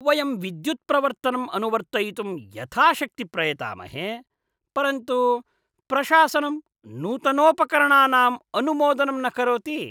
वयं विद्युत्प्रवर्तनं अनुवर्तयितुं यथाशक्ति प्रयतामहे, परन्तु प्रशासनं नूतनोपकरणानाम् अनुमोदनं न करोति।